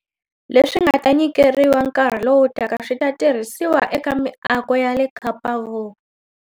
Leswi nga ta nyikeriwa nkarhi lowutaka swi ta tirhisiwa eka miako ya le Kapa-Vu.